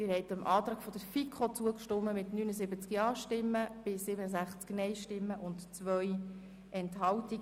Sie haben der Planungserklärung der FiKoMehrheit zugestimmt mit 67 Ja- gegen 79 Nein-Stimmen bei 2 Enthaltungen.